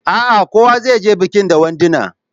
A a, kowa zai je bikin da wanduna.